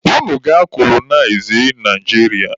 Unu gaa kolonịazịa Naijiria!